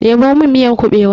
Ɗebo min miyar kuɓewan!